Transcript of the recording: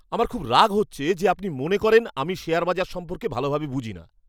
আমার খুব রাগ হচ্ছে যে আপনি মনে করেন আমি শেয়ার বাজার সম্পর্কে ভালোভাবে বুঝি না।